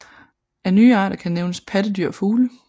Af nye arter kan nævnes pattedyr og fugle